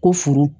Ko furu